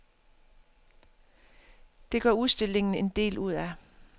Det gør udstillingen en del ud af.